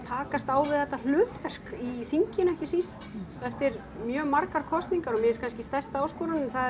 takast á við þetta hlutverk í þinginu ekki síst eftir mjög margar kosningar og mér kannski stærsta áskorunin það